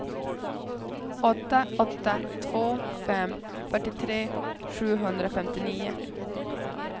åtta åtta två fem fyrtiotre sjuhundrafemtionio